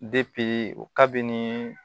o kabini